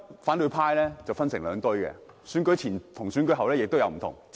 反對派現時分成了兩批，選舉前和選舉後出現了變化。